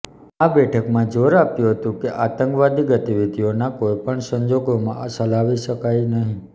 આ બેઠકમાં જોર આપ્યું હતું કે આતંકવાદી ગતિવિધિઓના કોઇપણ સંજોગોમાં ચલાવી શકાય નહીં